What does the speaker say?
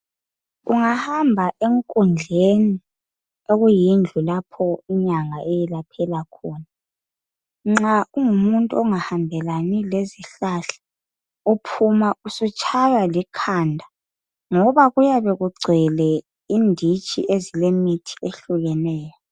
Ungahamba enkundleni okuyindlu lapho inyanga eyelaphela khona, nxa ungumuntu ongahambelani lezihlahla uphuma usutshaywa likhanda ngoba kuyabe kugcwele inditshi ezilemithi ehlukeneyo.